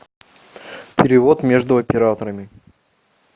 перевод между операторами